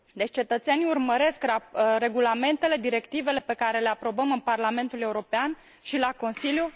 Cetățenii urmăresc regulamentele, directivele pe care le aprobăm în Parlamentul European și la Consiliu.